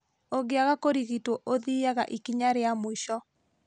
ũngĩaga kũrigitwo ũthiaga ikinya rĩa mũico